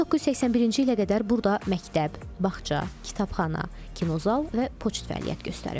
1981-ci ilə qədər burda məktəb, bağça, kitabxana, kinozal və poçt fəaliyyət göstərib.